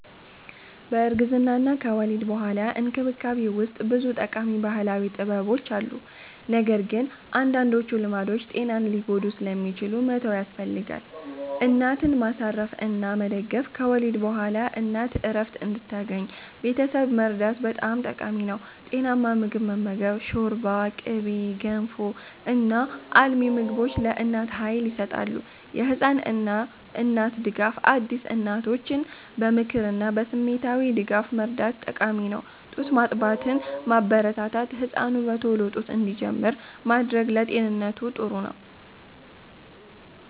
በእርግዝናና ከወሊድ በኋላ እንክብካቤ ውስጥ ብዙ ጠቃሚ ባህላዊ ጥበቦች አሉ፣ ነገር ግን አንዳንዶቹ ልማዶች ጤናን ሊጎዱ ስለሚችሉ መተው ያስፈልጋል። እናትን ማሳረፍ እና መደገፍ – ከወሊድ በኋላ እናት እረፍት እንድታገኝ ቤተሰብ መርዳት በጣም ጠቃሚ ነው። ጤናማ ምግብ መመገብ – ሾርባ፣ ቅቤ፣ ገንፎ እና አልሚ ምግቦች ለእናት ኃይል ይሰጣሉ። የህፃን እና እናት ድጋፍ – አዲስ እናቶችን በምክርና በስሜታዊ ድጋፍ መርዳት ጠቃሚ ነው። ጡት ማጥባትን ማበረታታት – ህፃኑ በቶሎ ጡት እንዲጀምር ማድረግ ለጤንነቱ ጥሩ ነው።